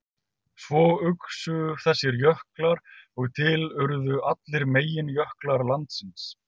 Svo uxu þessir jöklar og til urðu allir meginjöklar landsins.